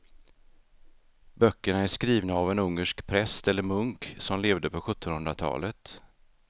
Böckerna är skrivna av en ungersk präst eller munk som levde på sjuttonhundratalet.